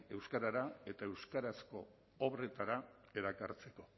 euskarara eta euskarazko obretara erakartzeko